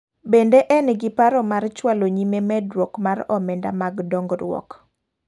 Bende en gi paro mar chwalo nyime medruok mar omenda mag dongruok.